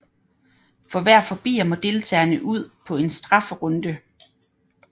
For hver forbier må deltageren ud på en strafferunde